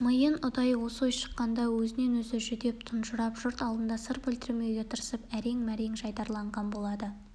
миын ұдайы осы ой шаққанда өзінен-өзі жүдеп тұнжырап жұрт алдында сыр білдірмеуге тырысып әрең-мәрең жайдарыланған болады